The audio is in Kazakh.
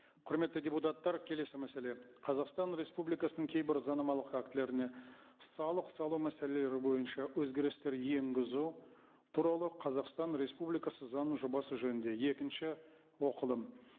құрметті депутаттар келесі мәселе қазақстан республикасының кейбір заңнамалық актілеріне салық салу мәселелері бойынша өзгерістер енгізу туралы қазақстан республикасы заңының жобасы жөнінде екінші оқылым